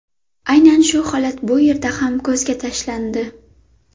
Aynan shu holat bu yerda ham ko‘zga tashlandi.